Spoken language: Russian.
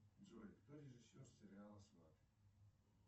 джой кто режиссер сериала сваты